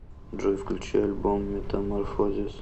джой включи альбом метаморфозис